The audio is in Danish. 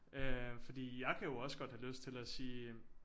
Øh fordi jeg kan jo også godt have lyst til at sige